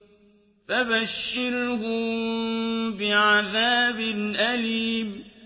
فَبَشِّرْهُم بِعَذَابٍ أَلِيمٍ